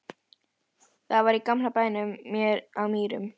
Það var í gamla bænum hér á Mýrum.